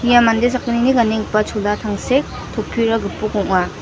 ia mande sakgnini ganenggipa chola tangsek topira gipok ong·a.